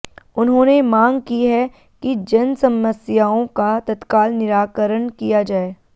उन्होंने मांग की है कि जनसमस्याओं का तत्काल निराकरण किया जाए